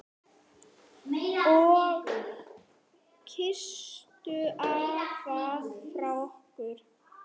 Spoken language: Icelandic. Og kysstu afa frá okkur.